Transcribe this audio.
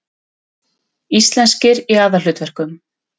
Íslenskir í aðalhlutverkum